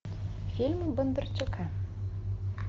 фильмы бондарчука